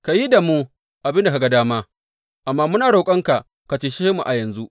Ka yi da mu abin da ka ga dama, amma muna roƙonka ka cece mu a yanzu.